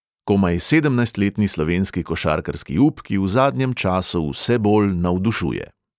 Komaj sedemnajstletni slovenski košarkarski up, ki v zadnjem času vse bolj navdušuje.